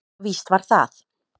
Víst var það.